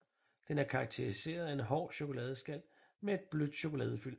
Den er karakteriseret af en hård chokoladeskal med en blødt chokoladefyld